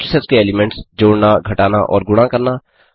matrix के elements जोड़ना घटाना और गुणा करना